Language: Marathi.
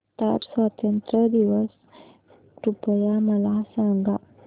कतार स्वातंत्र्य दिवस कृपया मला सांगा